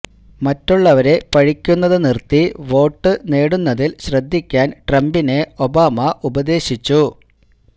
മറ്റുള്ളവരെ പഴിക്കുന്നത് നിര്ത്തി വോട്ട് നേടുന്നതില് ശ്രദ്ധിക്കാന് ട്രംപിനെ ഒബാമ ഉപദേശിച്ചു